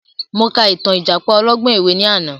Mo ka ìtàn ìjàpá ọlọ́gbọ́n ẹ̀wẹ ni àná